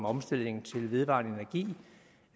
omstilling til vedvarende energi